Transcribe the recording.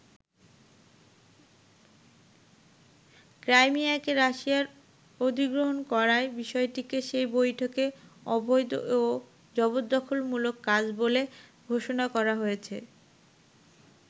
ক্রাইমিয়াকে রাশিয়ার অধিগ্রহণ করার বিষয়টিকে সেই বৈঠকে ‘অবৈধ’ ও জবরদখলমূলক কাজ বলে ঘোষণা করা হয়েছে।